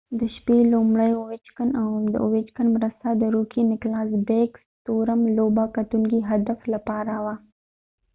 د اويچکن ovechken د شپې لومړۍ مرسته د روکې نکلاس بیک سټورم rookie nicklas backstorm لوبه کټونکې هدف لپاره وه